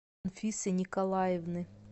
анфисы николаевны